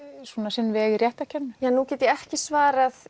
sinn veg í réttarkerfinu nú get ég ekki svarað